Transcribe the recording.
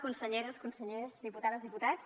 conselleres consellers diputades diputats